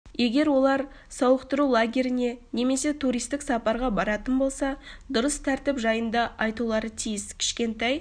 егер олар сауықтыру лагеріне немесе туристік сапарға баратын болса дұрыс тәртіп жайында айтулары тиіс кішкентай